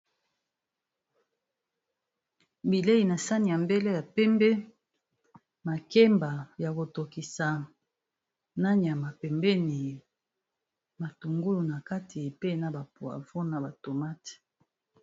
Bileyi na sani ya mbele ya pembe, makemba ya ko tokisa, na nyama pembeni, matungulu na kati, pe na ba poivron na ba tomate.